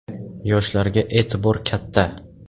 Yoshlarga e’tibor katta.